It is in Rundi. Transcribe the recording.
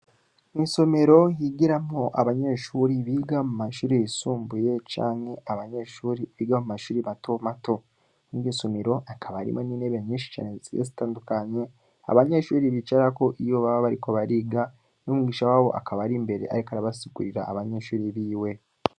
Mwisomero, higiramwo Abanyeshure biga mumashure yisumbuye, canke Abanyeshure Biga mumashure matomato, Mwiryo somero hakaba hariyo Nintebe nyishi cane Zigiye zitandukanye Abanyeshure bicarako iyo baba bariko bariga, Umwigisha wabo akaba Ari imbere ariko arasigurira Abanyeshure biwe.